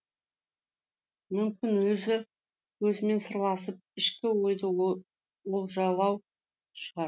мүмкін өзі өзімен сырласып ішкі ойды олжалау шығар